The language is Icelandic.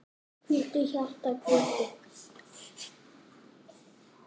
Hvíldu, hjarta, hvíldu.